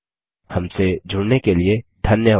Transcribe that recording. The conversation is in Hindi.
हमसे जुड़ने के लिए धन्यवाद